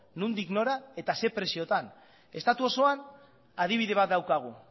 nondik nora eta ze preziotan estatu osoan adibide bat daukagu